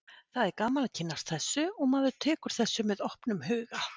Það er gaman að kynnast þessu og maður tekur þessu með opnum huga.